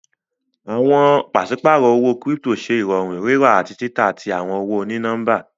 Awọn paṣipárọ̀ owó kírípítò ṣẹ irọ̀rún rírà ati tità tí awọn owó onínọ̀mbà.